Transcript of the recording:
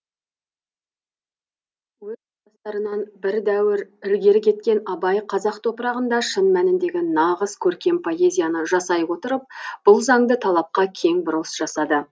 әдебиетте өз тұстастарынан бір дәуір ілгері кеткен абай қазақ топырағында шын мәніндегі нағыз көркем поэзияны жасай отырып бұл заңды талапқа кең бұрылыс жасады